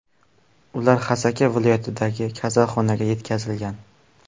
Ular Xasaka viloyatidagi kasalxonaga yetkazilgan.